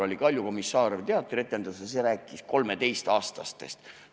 "Olen kolmeteistkümneaastane" oli üks teatrietendus ja see rääkis 13-aastastest.